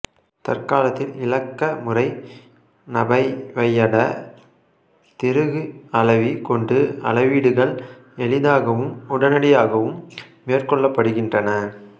தற்காலத்தில் இலக்க முறை னபைவையட திருகு அளவி கொண்டு அளவீடுகள் எளிதாகவும் உடனடியாகவும் மேற்கொள்ளப்படுகின்றன